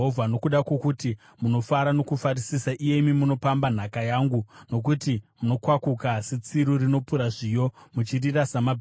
“Nokuda kwokuti munofara nokufarisisa, iyemi munopamba nhaka yangu, nokuti munokwakuka setsiru rinopura zviyo, muchirira samabhiza,